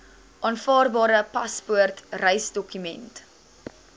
aanvaarbare paspoort reisdokument